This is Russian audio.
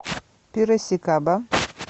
пирасикаба